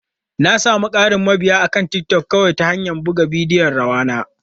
Na sami ƙarin mabiya akan TikTok kawai ta hanyar buga bidiyon rawa na.